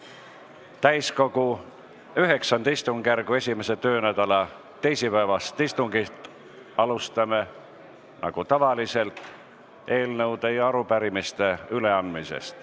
Nagu tavaliselt, alustame ka täiskogu IX istungjärgu 1. töönädala teisipäevast istungit eelnõude ja arupärimiste üleandmisega.